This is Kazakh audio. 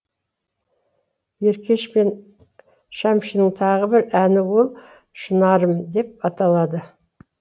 еркеш пен шәмшінің тағы бір әні ол шынарым деп аталады